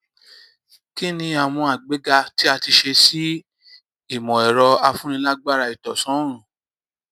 kí ni àwọn àgbéga tí a ti ṣe sí ìmọ ẹrọ afúnilágbára ìtànsán oòrùn